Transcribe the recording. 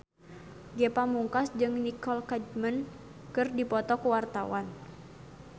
Ge Pamungkas jeung Nicole Kidman keur dipoto ku wartawan